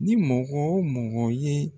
Ni mɔgɔ o mɔgɔ ye